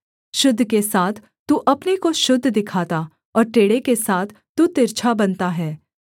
शुद्ध के साथ तू अपने को शुद्ध दिखाता और टेढ़े के साथ तू तिरछा बनता है